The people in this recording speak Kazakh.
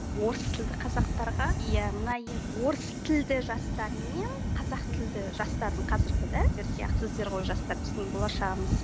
орыс тілді қазақтарға иә мына орыс тілді жастармен қазақ тілді жастардың қазіргі жастар біздің болашағымыз